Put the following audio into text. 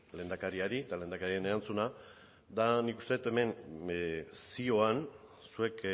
lehendakariari eta lehendakariaren erantzuna da nik uste det hemen zioan zuek